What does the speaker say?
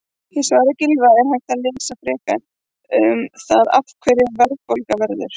Í svari Gylfa er hægt að lesa frekar um það af hverju verðbólga verður.